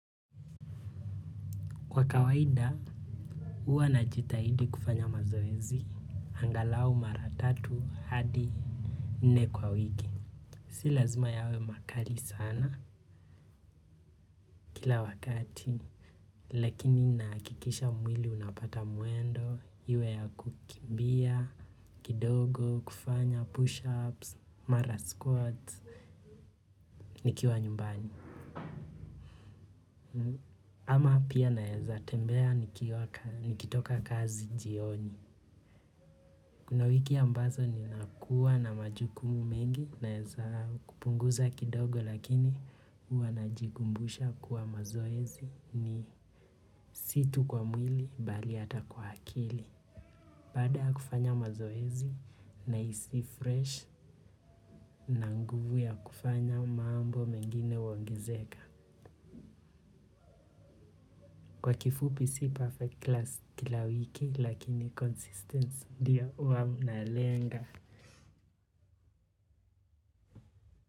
Kwa kawaida, huwa najitahidi kufanya mazoezi, angalau mara tatu hadi nne kwa wiki. Si lazima yawe makali sana kila wakati. Lakini nakikisha mwili unapata muendo, iwe ya kukimbia, kidogo, kufanya push-ups, mara squats, nikiwa nyumbani. Ama pia naeza tembea nikitoka kazi jioni. Kuna wiki ambazo ninakua na majukumu mengi naeza kupunguza kidogo lakini ua najigumbusha kuwa mazoezi ni si tu kwa mwili bali hata kwa akili. Baada ya kufanya mazoezi nahisi fresh na nguvu ya kufanya mambo mengine huongezeka. Kwa kifupi si perfect class kila wiki lakini consistence ndio ua munalenga.